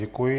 Děkuji.